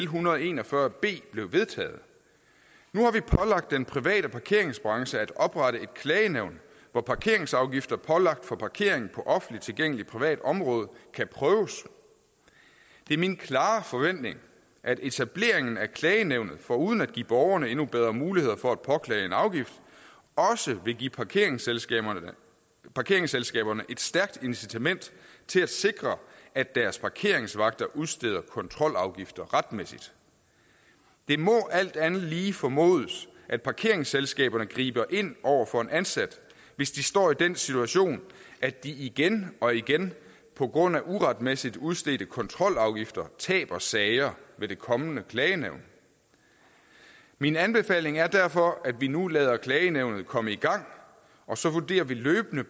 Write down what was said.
hundrede og en og fyrre b blev vedtaget nu har vi pålagt den private parkeringsbranche at oprette et klagenævn hvor parkeringsafgifter pålagt for parkering på offentligt tilgængeligt privat område kan prøves det er min klare forventning at etableringen af klagenævnet foruden at give borgerne endnu bedre muligheder for at påklage en afgift også vil give parkeringsselskaberne parkeringsselskaberne et stærkt incitament til at sikre at deres parkeringsvagter udsteder kontrolafgifter retmæssigt det må alt andet lige formodes at parkeringsselskaberne griber ind over for en ansat hvis de står i den situation at de igen og igen på grund af uretmæssigt udstedte kontrolafgifter taber sager ved det kommende klagenævn min anbefaling er derfor at vi nu lader klagenævnet komme i gang og så vurderer vi løbende